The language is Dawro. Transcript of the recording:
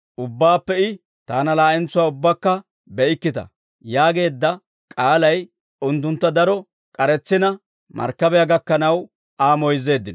Ubbaappe I, «Taana laa'entsuwaa ubbakka be'ikkita» yaageedda k'aalay unttuntta daro k'aretsina markkabiyaa gakkanaw Aa moyzzeeddino.